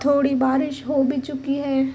थोड़ी बारिश हो भी चुकी है।